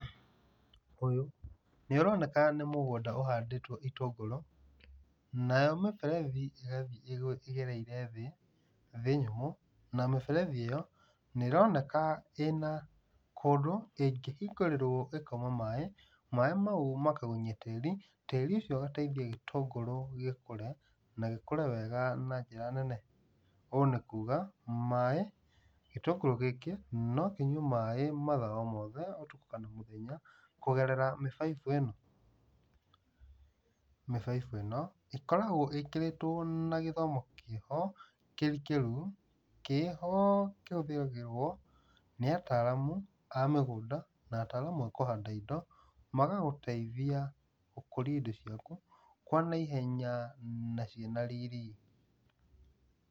Ũyũ nĩũroineka nĩ mũgũnda ũhanditwo itũngũrũ, nayo mĩberethi ĩgereire thĩ, thĩ nyũmũ nayo mĩberethi ĩyo nĩ ĩroneka ĩna kũndũ ingĩhingũrĩrwo ĩkauma maaĩ. Maaĩ mau makagunyia tĩri, tĩri ũcio ũgateithia itũngũrũ ikũre na ikũre wega na njĩra nene. Ũũ nĩ kuuga maaĩ, gĩtũngũrũ gĩkĩ no kĩnyue maaĩ matha o mothe oro mũthenya kugerera mĩbaibu ĩno. Mĩbaibũ ĩno ĩkoragwo ĩkĩrĩtwo na gĩthomo kĩho kĩrikĩru, kĩho kĩhũthagĩrwo nĩ ataramu a mĩgũnda na ataramu a kũhanda indo, magagũteithia gũkũria indo ciaku kwa nyaihenya na ciĩna riri.